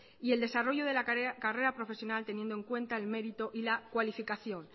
y el desarrollo de la carrera profesional teniendo en cuenta el mérito y la cualificación